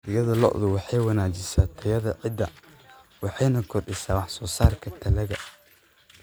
Digada lo'du waxay wanaajisaa tayada ciidda waxayna kordhisaa wax soo saarka dalagga.